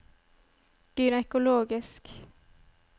gynekologisk